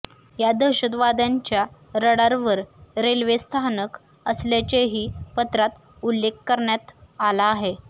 या दहशतवाद्यांच्या रडारवर रेल्वे स्थानक असल्याचेही पत्रात उल्लेख करण्यात आला आहे